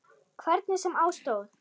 Hvernig sem á stóð.